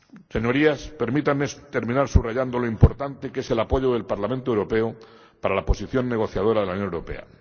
Señorías, permítanme terminar subrayando lo importante que es el apoyo del Parlamento Europeo para la posición negociadora de la Unión Europea.